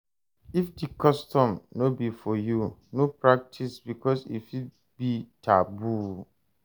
If di custom no be for you, no pratice because e fit be taboo